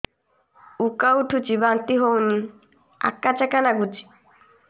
ଉକା ଉଠୁଚି ବାନ୍ତି ହଉନି ଆକାଚାକା ନାଗୁଚି